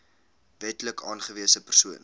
wetlik aangewese persoon